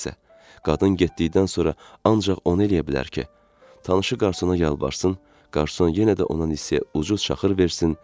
Kişi isə qadın getdikdən sonra ancaq onu eləyə bilər ki, tanışı qarsana yalvarsın, qarsan yenə də ona nisiyə ucuz çaxır versin.